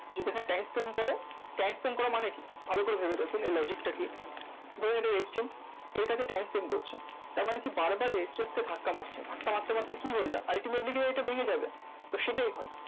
যদি এখানে time spend করে time spend করা মানে কি? ভালো করে ভেবে দেখুন এই logic টা কি? ধরো এটা resistance এটাকে time spend করছে। তারমানে কি বার বার resistance কে ধাক্কা মারছে। ধাক্কা মারতে মারতে কি হয় যায়? ultimately এটা ভেঙে যাবে, তো সেটাই হয়।